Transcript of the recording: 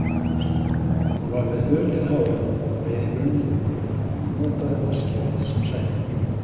Hún var með hulið hárið á leið í brunninn og notaði vatnskerið sem sæti.